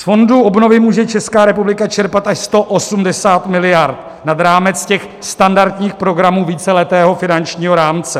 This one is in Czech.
Z fondu obnovy může Česká republika čerpat až 180 miliard nad rámec těch standardních programů víceletého finančního rámce.